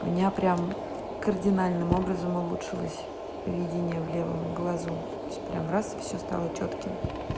меня прямо кардинальным образом улучшилось видение в левом глазу всё прям раз и всё стало чётким